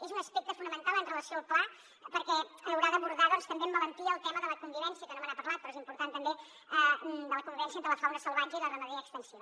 és un aspecte fonamental amb relació al pla perquè haurà d’abordar també amb valentia el tema de la convivència que no me n’ha parlat però és important també entre la fauna salvatge i la ramaderia extensiva